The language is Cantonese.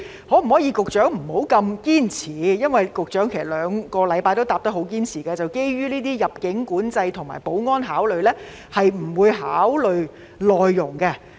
局長可否不要這麼堅持，因為局長在這兩星期的答覆都堅持表示，基於入境管制及保安考慮，不會考慮輸入內傭。